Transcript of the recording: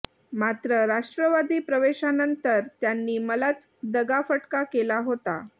मात्र राष्ट्रवादी प्रवेशानंतर त्यांनी मलाच दगाफटका केला होता